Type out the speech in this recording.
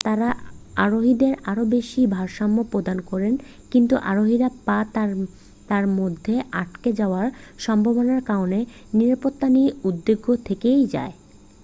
তারা আরোহীদের আরও বেশি ভারসাম্য প্রদান করে কিন্তু আরোহীর পা তার মধ্যে আটকে যাওয়ার সম্ভাবনার কারণে নিরাপত্তা নিয়ে উদ্বেগ থেকেই যায়